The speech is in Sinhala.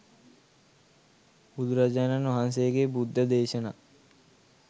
බුදුරජාණන් වහන්සේගේ බුද්ධ දේශනා